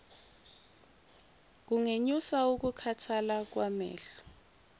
kungenyusa ukukhathala kwamehlo